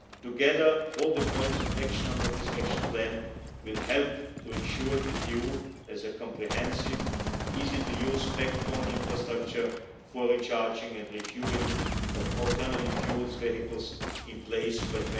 Together, all the points of action under this Action Plan will help to ensure that we have in place a comprehensive, easy to use spec on infrastructure for the recharging and refuelling of alternative fuel vehicles by